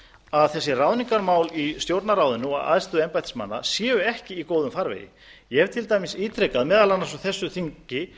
að þessi ráðningarmál í stjórnarráðinu og æðstu embættismanna séu ekki í góðum farvegi ég hef til dæmis ítrekað meðal annars á þessu þingi